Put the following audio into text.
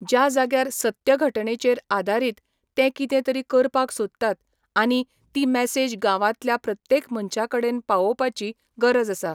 ज्या जाग्यार सत्य घटणेचेर आदारीत ते कितें तरी करपाक सोदतात आनी ती मॅसेज गांवांतल्या प्रत्येक मनशा कडेन पावोवपाची गरज आस.